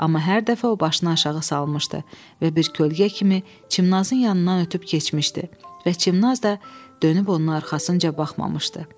Amma hər dəfə o başını aşağı salmışdı və bir kölgə kimi Çimnazın yanından ötüb keçmişdi və Çimnaz da dönüb onun arxasınca baxmamışdı.